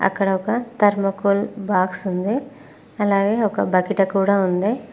అక్కడ ఒక thermocol box ఉంది అలాగే ఒక బకిట కూడా ఉంది.